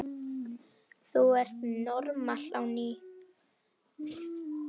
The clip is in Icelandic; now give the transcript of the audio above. Þú ert normal á ný.